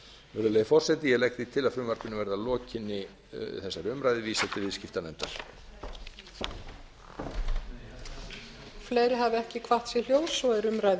virðulegi forseti ég legg til að frumvarpinu verði að lokinni þessari umræðu vísað til annarrar umræðu og viðskiptanefndar